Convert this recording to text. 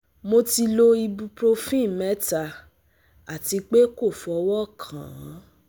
Mo ti lo ibuprofen mẹta ati pe ko fọwọ kan an